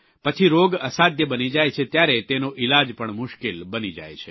પછી રોગ અસાધ્ય બની જાય છે ત્યારે તેનો ઇલાજ પણ મુશ્કેલ બની જાય છે